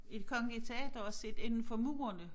I det kongelige teater og set inden for murerne